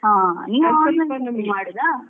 ಹಾ ನೀವ್ online shopping ಮಾಡುದಾ.